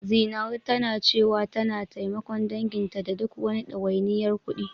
Zinaru tana cewa tana taimakon danginta da duk wani ɗawainiyar kuɗi.